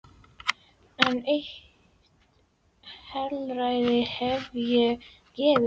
En eitt heilræði hef ég að gefa þér.